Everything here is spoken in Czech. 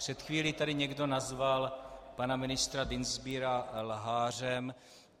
Před chvílí tady někdo nazval pana ministra Dienstbiera lhářem.